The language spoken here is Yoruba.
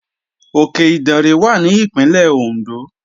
Òkè Ìdànrè wà ní Ìpínlẹ̀ Òndó